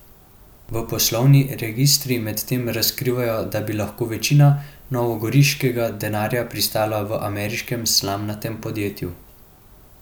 A poslovni registri medtem razkrivajo, da bi lahko večina novogoriškega denarja pristala v ameriškem slamnatem podjetju.